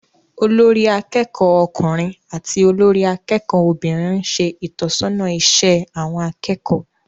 Olórí akẹ́kọ̀ọ́ ọkùnrin àti olórí akẹ́kọ̀ọ́ obìnrin ń ṣe ìtọ́sọ́nà iṣẹ́ àwọn akẹ́kọ̀ọ́